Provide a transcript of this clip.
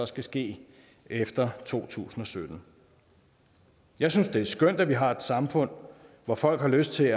skal ske efter to tusind og sytten jeg synes det er skønt at vi har et samfund hvor folk har lyst til at